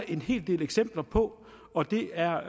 en hel del eksempler på og det er